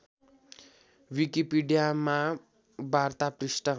विकिपीडियामा वार्ता पृष्ठ